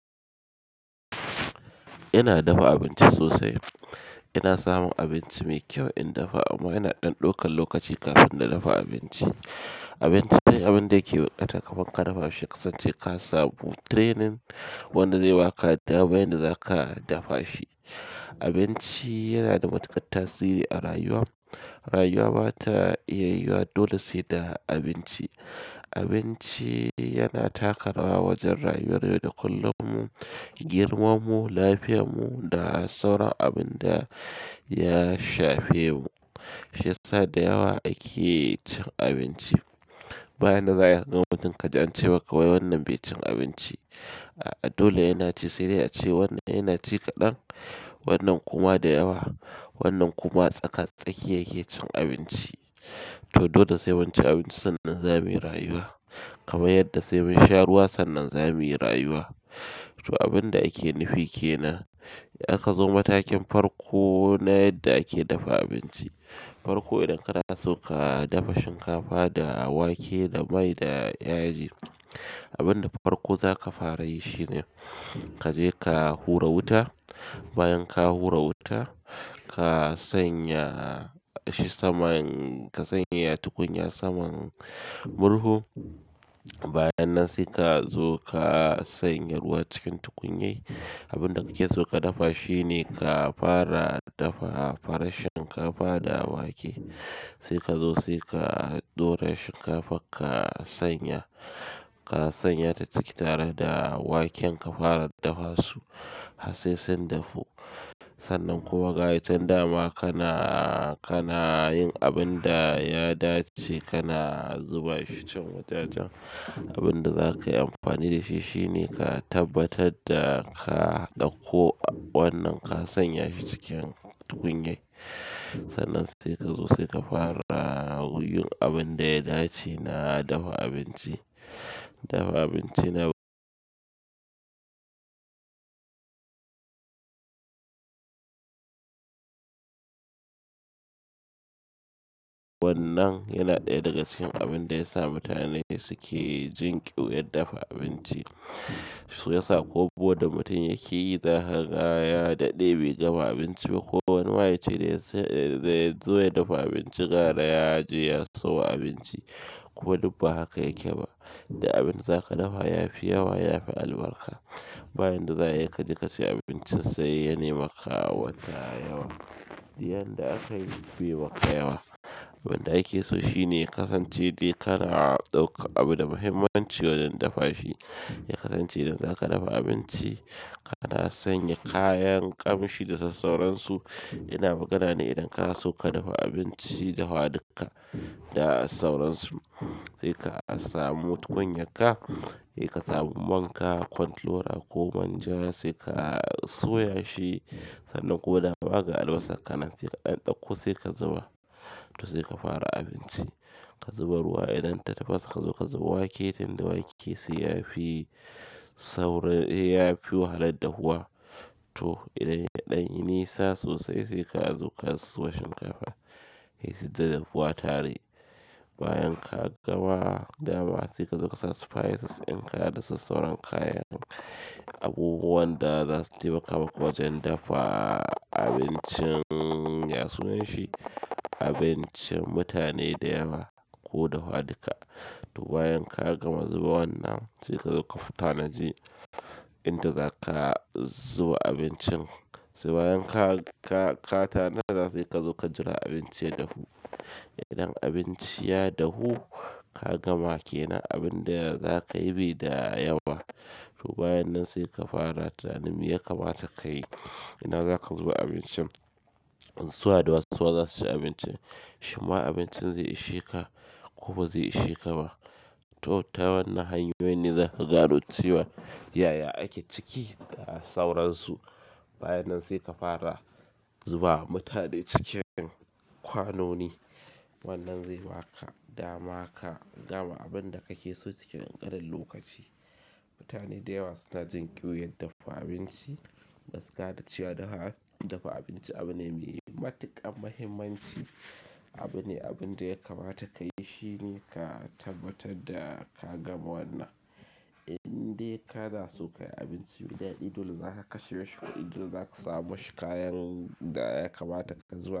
Ina dafa abinci sosai. Ina samun abinci mai kyau in dafa, amma yana ɗanɗaukan lokaci kafin nadafa abinci. Abinci dai abin da yake buƙata kafin ka dafa shi kasance ka samu training wanda zai ba ka dama yadda za ka dafa shi. Abinci yana da matuƙar tasiri a rayuwa. Rayuwa ba ta iya yiwuwa dole sai da abinci. Abinci yana taka rawa wajen rayuwar yau da kullum mu, girman mu, lafiyan mu da sauran abin da ya shafe mu. Shiya sa da yawa ake cin abinci. Bayan da za a yikaga mutum ka ji ance maka wai wannan bai cin abinci. A dole yana ci sai dai ace wannan yana ci kaɗan, wannan kuma da yawa, wannan kuma tsaka-tsaki yake cin abinci. To dole sai munci abincin sannan za muyi rayuwa. Kaman yadda sai mun sha ruwa sannan za muyi rayuwa. To abin da ake nufi ke nan, ya ka zo matakin farko na yadda ake dafa abinci. Farkon idan kana so ka dafa shinkafa da wake da mai da yaji, abin da farko za ka fara yi shine ka je ka hura wuta. Bayan ka hura wuta, ka sanya shi saman-- ka sanya tukunya saman murhu. Bayan nan sai ka zo ka sanya ruwa cikin tukunya. Abin da kike so ka dafa shine ka fara dafa farar shinkafa da wake. Sai ka zo sai ka ɗora shinkafan ka sanya, ka sanya ta ciki tare da waken ka fara dafa su. Harsai sun dafu sannan kuma ga yican dama kana, kana yin abin da ya dace, kana zuba ficcen wajajen. Abin da za ka yi amfani da shi shine ka tabbatar da ka ɗauko wannan ka sanya shi cikin tukunya. Sannan sai ka zo sai ka fara yin abin da ya dace na dafa abinci. Dafa abinci na wannan yana ɗaya daga cikin abin da ya sa mutane suke jin ƙyuyar dafa abinci. Su ke sa ko buhu da mutum yake yi, za ka ga ya daɗe bai gama abinci ba ko wani ma yace daya so, ya zo ya dafa abinci gara ya je ya sawo abinci. Kuma dubba haka yake ba. Duk abin za ka dafa ya fi yawa ya fi albarka. Bayan da za a yika je ka sai abincin sa ye nema ka wata yawa. Diyan da aka yi bai maka yawa. Abin da ake so shine kasance dai kana ɗauka abu da muhimmanci wajen dafa shi. Ya kasance idan zaka dafa abinci, kana sanya kayan ƙamshi da dai sauransu. Ina magana ne idan kana so ka dafa abinci da huwa duka da sauransu. Sai ka samu tukunyan ka, sai ka samu man ka, control oil ko manja sai ka soya shi. Sannan kuma dama ga albasan kanansai ka ɗan ɗauko sai ka zuba. To sai ka fara abinci. Ka zuba ruwa idan ta tafasa ka zo ka zuba wake tunda wake sai ya fi saurin, ya fiwaha lar ya dahuwa. To idan ya ɗanyi nisa sosai sai ka zo ka zuba shinkafa. Ya si ta dahuwa tare. Bayan ka gama dama sai ka zo ka sa spices ɗin ka da sauran kayan abubuwan da za su taimaka maka wajen dafa abincin ya sunan shi. Abincin mutane da yawa ko da huwa duka. To bayan ka gama zuba wannan, sai ka zo ka fita naji inda za ka zuba abincin. Sai bayan ka, ka, ka tanada za su kai ka zo ka jira abinci ya dahu. Idan abinci ya dahu, ka gama ke nan abin da za ka yi bai da yawa. To bayan nan sai ka fara tunaninme ya kamata ka yi. Ina za ka zuba abincin. Suwa da wasu za su ci abincin. Shimma abincin zai ishe ka ko ba zai ishe ka ba. To ta wannan hanyoyin ne za ka gano cewa yaya ake ciki da sauransu. Bayan nan sai ka fara zuba mutane cikin kwanoni. Wannan zai ba ka dama ka gama abin da kake so cikin ƙarƙaran lokaci. Mutane da yawa suna jin ƙyuyar dafa abinci. Gaskiya cewa dafa abinci abu ne mai matuƙar muhimmanci. Abu ne abin da ya kamata ka yi shine ka tabbatar da ka gama wannan. Inde kana so ka yi abinci maidaɗi dole za ka kashe shi kuɗi inda za ka samu shi kayan da ya kamata ka zuba.